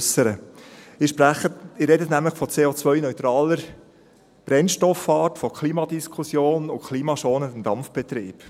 Sie sprechen nämlich von CO-neutraler Brennstoffart, von Klimadiskussion und klimaschonendem Dampfbetrieb.